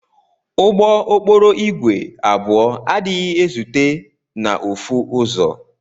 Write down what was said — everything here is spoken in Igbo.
Ụgbọ okporo igwe abụọ adighi ezute na ofu ụzọ.